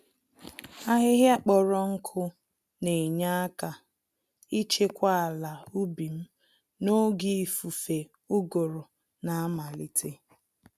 Ahịhịa kpọrọ nkụ Na-Enye àkà ichekwa àlà ubim n'oge ifufe ụgụrụ na-amalite